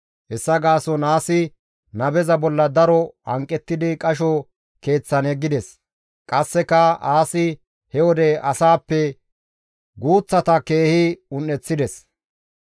Hessa gaason Aasi nabeza bolla daro hanqettidi qasho keeththan yeggides. Qasseka Aasi he wode asaappe guuththata keehi un7eththides.